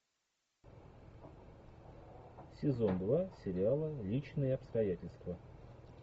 сезон два сериала личные обстоятельства